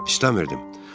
İstəmirdim.